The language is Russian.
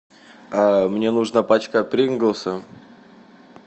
мне нужна пачка принглса